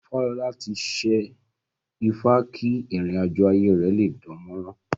Fálọlá ti ṣẹ́ ifá kí ìrìn àjọ̀ ayé rẹ̀ lé dánmọ́rán